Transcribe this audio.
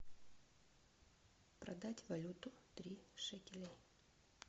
продать валюту три шекеля